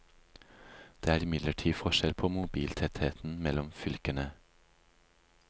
Det er imidlertid forskjell på mobiltettheten mellom fylkene.